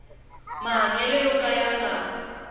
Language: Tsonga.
mahanyelo yo ka ya nga